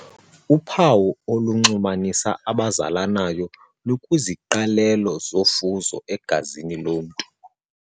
Uphawu olunxulumanisa abazalanayo lukwiziqalelo zofuzo egazini lomntu.